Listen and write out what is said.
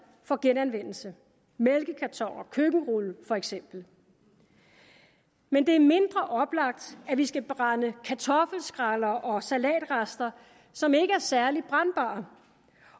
for genanvendelse mælkekartoner og køkkenruller for eksempel men det er mindre oplagt at vi skal brænde kartoffelskræller og salatrester som ikke er særlig brændbare